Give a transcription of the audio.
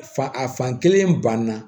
Fa a fan kelen banna